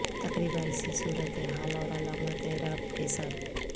تقریبا اسی صورت حال اور علامت اعراب کے ساتھ